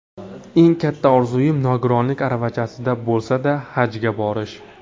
Eng katta orzuim nogironlik aravachasida bo‘lsa-da Hajga borish.